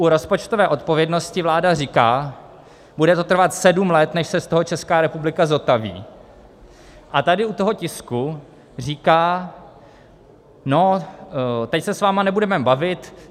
U rozpočtové odpovědnosti vláda, říká, bude to trvat sedm let, než se z toho Česká republika zotaví, a tady u toho tisku říká: No, teď se s vámi nebudeme bavit.